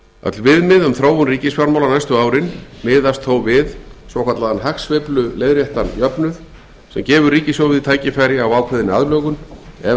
öll viðmið um þróun ríkisfjármála næstu árin miðast þó við svokallaðan hagsveifluleiðréttan jöfnuð sem gefur ríkissjóði tækifæri á ákveðinni aðlögun ef